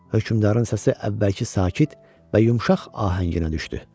Hökmdarın səsi əvvəlki sakit və yumşaq ahənginə düşdü.